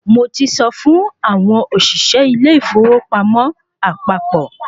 Mo ti sọ fún àwọn òṣìṣẹ́ ilé ìfowópamọ́ àpapọ̀